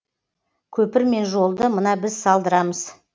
көпір мен жолды мына біз салдырамыз